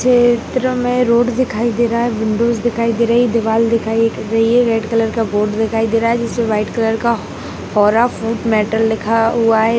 इस क्षेत्र मे रोड दिखाई दे रहा हैं विंडोज दिखाई दे रही हैं दीवाल दिखाई दे रही हैं रेड कलर का बोर्ड दिखाई दे रहा हैं जिसमे वाइट कलर का होरा फ़ूड मेटल लिखा हुआ हैं।